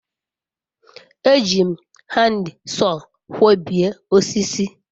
eji m handsaw kwobie osisi